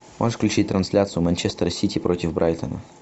можешь включить трансляцию манчестер сити против брайтона